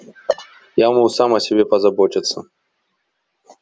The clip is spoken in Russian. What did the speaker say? я могу сам о себе позаботиться